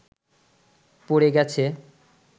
পড়ে গেছে